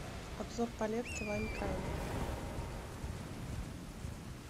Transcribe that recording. обзор палетки лайм крайм